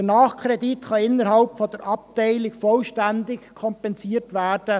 Der Nachkredit kann innerhalb der Abteilung durch andere Abteilungen vollständig kompensiert werden.